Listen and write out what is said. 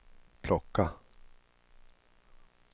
plocka